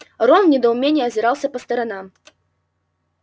рон в недоумении озирался по сторонам